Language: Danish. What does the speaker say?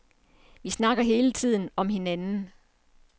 Vi snakker alle hele tiden om hinanden.